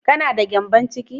Kana da gyambon ciki?